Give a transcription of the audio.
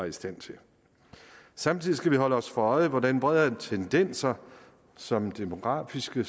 i stand til samtidig skal vi holde os for øje hvordan hvordan tendenser som demografiske